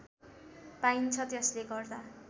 पाइन्छ त्यसले गर्दा